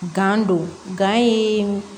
Gan don gan ye